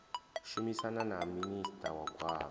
shumisana na minista wa gwama